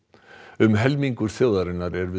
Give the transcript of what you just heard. um helmingur þjóðarinnar er við